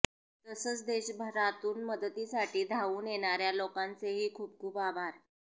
तसंच देशभरातून मदतीसाठी धावून येणाऱ्या लोकांचेही खूप खूप आभार